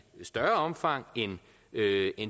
større omfang end